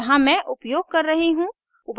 यहाँ मैं उपयोग कर रही हूँ